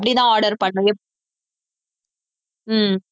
இப்படித்தான் order ஹம்